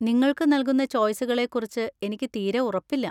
നിങ്ങൾക്ക് നൽകുന്ന ചോയ്‌സുകളെക്കുറിച്ച് എനിക്ക് തീരെ ഉറപ്പില്ല.